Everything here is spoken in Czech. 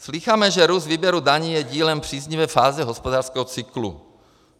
Slýcháme, že růst výběru daní je dílem příznivé fáze hospodářského cyklu.